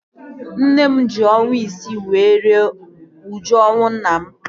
Nne m ji ọnwa isii were rie uju ọnwụ nna m